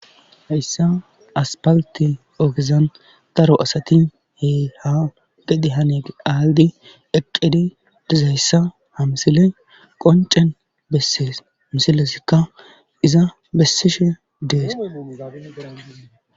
hayssa aspalte oogezan daro asati heeha gidi hane aaldi eqqedi dizayssa ha msiley qoncen bessees misilesikka iza bessishe dees